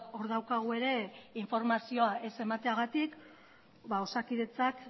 hor daukagu ere informazioa ez emateagatik osakidetzak